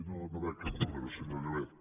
no veig cap número senyor llobet